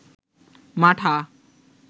মাঠা